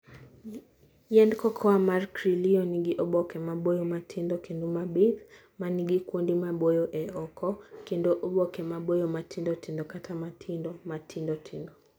Yiend cocoa mar Criollo nigi oboke maboyo ma tindo kendo mabith, ma nigi kuonde maboyo e oko, kendo oboke maboyo ma tindo tindo kata ma tindo, ma tindo tindo.